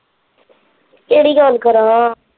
ਕਿਹੜੀ ਗੱਲ ਕਰਨ?